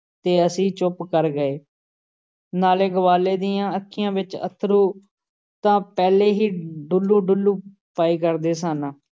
ਤੇ ਅਸੀਂ ਚੁੱਪ ਕਰ ਗਏ। ਨਾਲ਼ੇ ਗਵਾਲੇ ਦੀਆਂ ਅੱਖੀਆਂ ਵਿੱਚ ਅੱਥਰੂ ਤਾਂ ਪਹਿਲੇ ਹੀ ਡੁਲੂੰ-ਡੁਲੂੰ ਪਏ ਕਰਦੇ ਸਨ ।